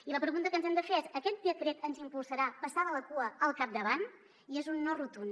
i la pregunta que ens hem de fer és aquest decret ens impulsarà passar de la cua al capdavant i és un no rotund